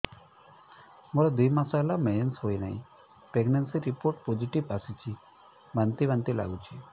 ମୋର ଦୁଇ ମାସ ହେଲା ମେନ୍ସେସ ହୋଇନାହିଁ ପ୍ରେଗନେନସି ରିପୋର୍ଟ ପୋସିଟିଭ ଆସିଛି ବାନ୍ତି ବାନ୍ତି ଲଗୁଛି